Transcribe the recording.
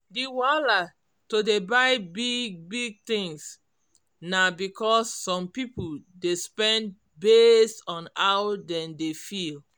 d wahala to dey buy big big things na because some people dey spend based on how dem dey feel